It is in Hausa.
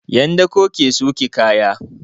'Yan dako ke sauke kaya.